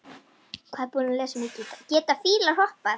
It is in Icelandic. Geta fílar hoppað?